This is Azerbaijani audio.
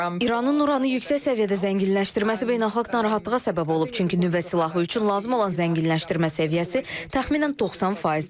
İranın Uranı yüksək səviyyədə zənginləşdirməsi beynəlxalq narahatlığa səbəb olub, çünki nüvə silahı üçün lazım olan zənginləşdirmə səviyyəsi təxminən 90%-dir.